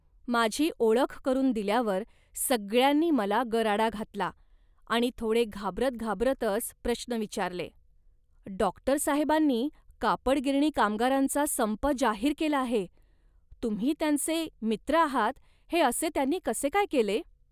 माझी ओळख करून दिल्यावर सगळ्यांनी मला गराडा घातला आणि थोडे घाबरत घाबरतच प्रश्न विचारले, "डॉक्टर साहेबांनी कापड गिरणी कामगारांचा संप जाहीर केला आहे, तुम्ही त्यांचे मित्र आहात. हे असे त्यांनी कसे काय केले